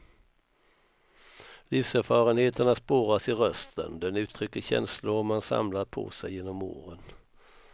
Livserfarenheterna spåras i rösten, den uttrycker känslor man samlat på sig genom åren.